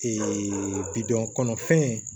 bidɔn kɔnɔfɛn